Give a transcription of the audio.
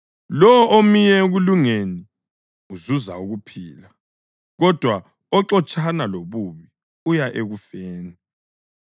Lowo omiyo ekulungeni uzuza ukuphila, kodwa oxotshana lobubi uya ekufeni.